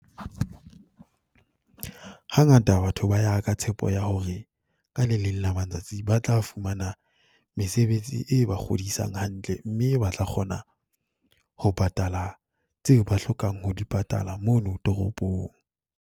Hangata batho ba ya ka tshepo ya hore ka le leng la matsatsi ba tla fumana mesebetsi e ba kgodisang hantle, mme ba tla kgona ho patala tseo ba hlokang ho di patala mono toropong.